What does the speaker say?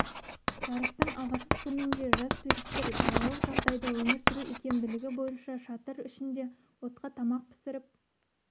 жарыстың алғашқы күнінде жас туристер далалық жағдайда өмір сүру икемділігі бойынша шатыр ішінде отқа тамақ пісіріп